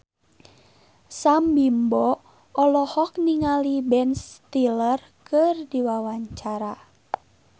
Sam Bimbo olohok ningali Ben Stiller keur diwawancara